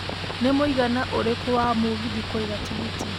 nĩ mwĩigana ũrĩkũ wa mũgithi kũiga tigiti